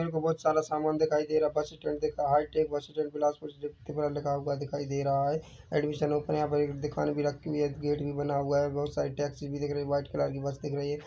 मेरे को बहोत सारा समान दिखाई दे रहा है बस स्टैंड दिख रहा है हाईटेक बस स्टैंड बिलासपुर दिखा लिखा हुआ दिखाई दे रहा है एडमिशन ओपन यहाँ पर एक दुकान भी रखी हुई है गेट भी बना हुआ है बहोत सारी टैक्सी भी दिख रही है वाइट कलर की बस दिख रही है।